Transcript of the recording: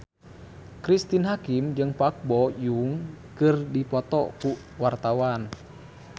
Cristine Hakim jeung Park Bo Yung keur dipoto ku wartawan